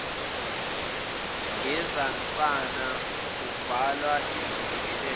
ngezansana kubhalwa isibingelelo